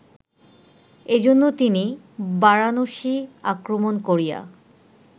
এজন্য তিনি বারাণসী আক্রমণ করিয়া